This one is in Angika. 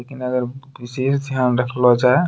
लेकिन अगर बिसेस ध्यान रखलो जाय --